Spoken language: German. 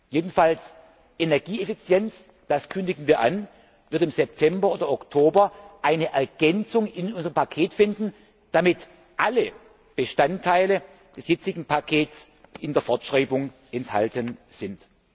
Jedenfalls Energieeffizienz das kündigen wir an wird im September oder Oktober eine Ergänzung in unserem Paket finden, damit alle Bestandteile des jetzigen Pakets in der Fortschreibung enthalten sind.